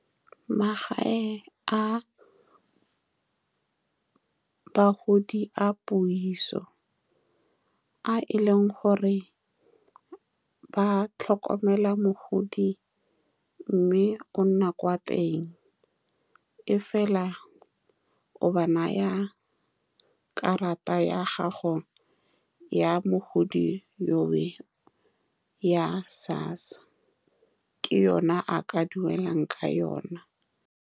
Magae a bagodi a puiso, a e leng gore ba tlhokomela mogodi, mme o nna kwa teng. Mme fela o ba naya karata ya gago ya mogodi, yo we ya SASSA, ke yone a ka duelang ka yone.